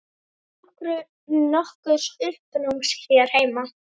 Án nokkurs uppnáms hér heima.